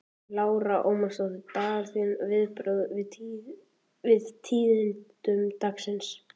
Lára Ómarsdóttir: Dagur, þín viðbrögð við tíðindum dagsins?